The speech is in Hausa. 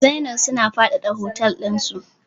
Zennoor suna faɗaɗa hotel dinsu.